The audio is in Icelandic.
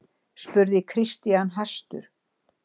spurði Christian hastur.